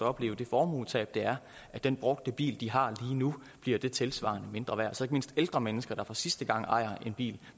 opleve det formuetab det er at den brugte bil de har lige nu bliver det tilsvarende mindre værd så ikke mindst ældre mennesker der for sidste gang ejer en bil